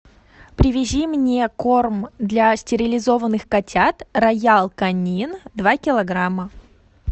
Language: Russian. привези мне корм для стерилизованных котят роял канин два килограмма